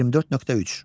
24.3.